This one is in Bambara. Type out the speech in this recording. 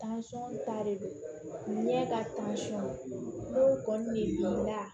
ta de don ne ka n'o kɔni de la